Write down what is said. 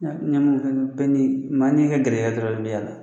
bɛɛ ni maa ni ka garijɛgɛ dɔrɔn de bi yala.